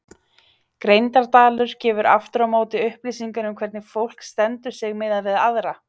Greindaraldur gefur aftur á móti upplýsingar um hvernig fólk stendur sig miðað við aðra.